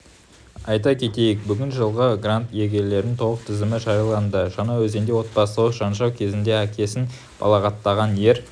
айта кетейік бүгін жылғы грант иелерінің толық тізімі жарияланды жаңаөзенде отбасылық жанжал кезінде әкесін балағаттаған ер